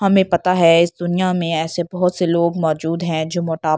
हमें पता है इस दुनिया में ऐसे बहोत से लोग मौजूद हैं जो मोटा--